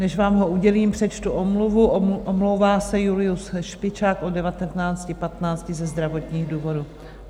Než vám ho udělím, přečtu omluvu: omlouvá se Julius Špičák od 19.15 ze zdravotních důvodů.